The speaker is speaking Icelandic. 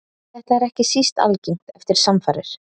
Þetta er ekki síst algengt eftir samfarir.